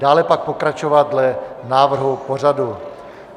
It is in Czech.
Dále pak pokračovat dle návrhu pořadu.